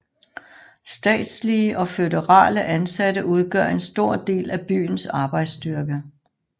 Statslige og føderale ansatte udgør en stor del af byens arbejdsstyrke